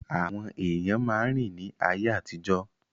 Àwọn èèyàn máa ń rìn ní ayé àtijọ́